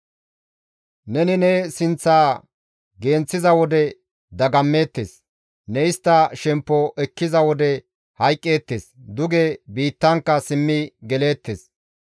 Neni ne sinththa genththiza wode dagammeettes; ne istta shemppo ekkiza wode hayqqeettes; duge biittankka simmi geleettes.